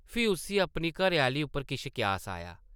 फ्ही उस्सी अपनी घरै-आह्ली उप्पर किश क्यास आया ।